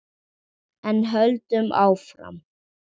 En höldum áfram: